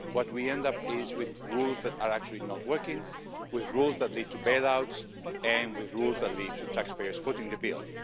what we end up is with rules that are actually not working, with rules that lead to bailouts and with rules that lead to taxpayers footing the bill.